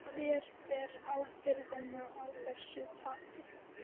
Hver ber ábyrgðina á þessu tapi?